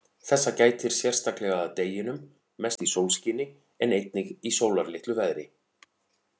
Þessa gætir sérstaklega að deginum, mest í sólskini, en einnig í sólarlitlu veðri.